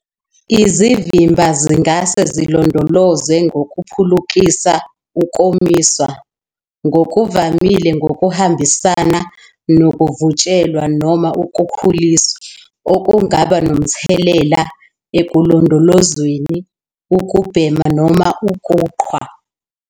Izimvimba zingase zilondolozwe ngokuphulukisa, ukomiswa, ngokuvamile ngokuhambisana nokuvutshelwa noma ukukhuliswa, okungaba nomthelela ekulondolozweni, ukubhema, noma ukuqhwa.